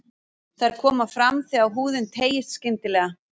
Þær koma fram þegar húðin teygist skyndilega.